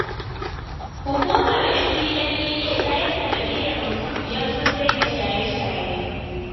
Hukumar NDLEA ta yi sanadiyar mutum biyar sun daina shaye-shaye.